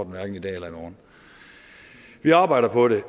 hverken i dag eller i morgen vi arbejder på det